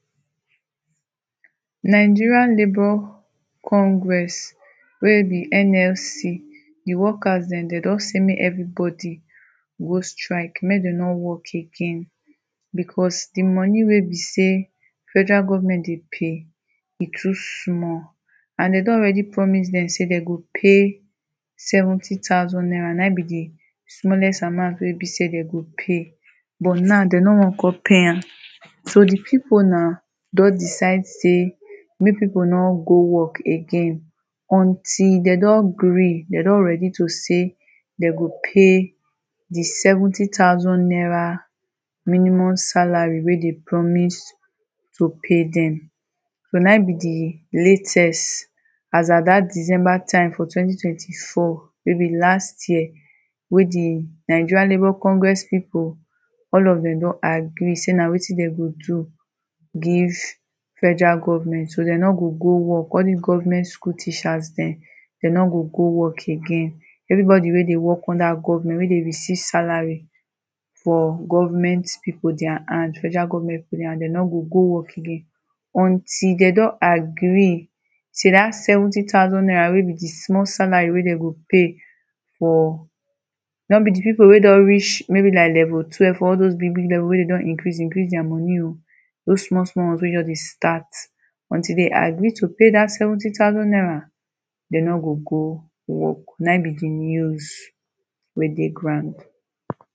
Nigerian Labour Congress wey be NLC, di workers dem dey don say make everybody go strike, make dem no work again because di money wey be say Federal Government dey pay, e too small. And dem don already promise dem say dey go pay seventy thousand naira (na e be di smallest amount wey be say dey go pay), but now dem no wan come pay am. So di people na, don decide say make people no go work again until dem don gree, dem don ready to say dem go pay di seventy thousand naira minimum salary wey dey promise to pay dem. So na it be di latest as at dat December time for twenty-twenty-four wey be last year; wey di Nigerian Labour Congress people, all of dem don agree say na wetin dem go do give Federal Government. So dem no gò gó work; all dis government school teachers dem, dem no go go work again. Everybody wey dey work under government wey dey receive salary for government people their hand, Federal Government people hand, dem no go go work again until dem don agree say dat seventy thousand naira wey be di small salary wey dem go pay for no be di people wey don reach, maybe like level 12, all those big big level wey don increase, increase their money o; those small small ones wey just de start. Until dem agree to pay dat seventy thousand naira, dem no go go work. Na im be di news wey dey ground.